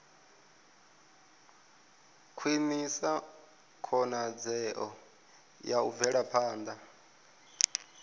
khwinisa khonadzeo ya u bvelaphanda